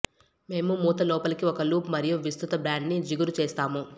మేము మూత లోపలికి ఒక లూప్ మరియు విస్తృత బ్యాండ్ని జిగురు చేస్తాము